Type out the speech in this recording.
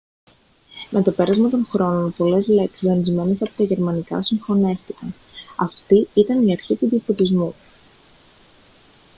με το πέρασμα των χρόνων πολλές λέξεις δανεισμένες από τα γερμανικά συγχωνεύτηκαν αυτή ήταν η αρχή του διαφωτισμού